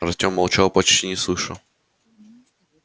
артем молчал почти не слыша